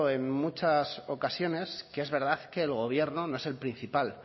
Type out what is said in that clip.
en muchas ocasiones que es verdad que el gobierno no es el principal